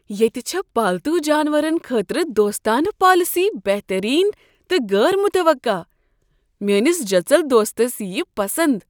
ییٚتہ چھےٚ پالتو جانورن خٲطرٕ دوستانہٕ پالیسی بہترین تہٕ غیر متوقع، میانِس جٔژل دوستس ییِیہ یہ پسند "